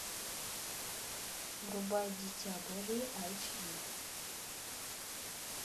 врубай дитя божье айч ди